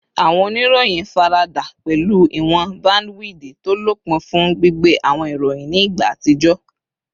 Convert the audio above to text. Awọn oniroyin farada pẹlu iwọn bandiwidi to lopin fun gbigbe awọn iroyin ni igba atijọ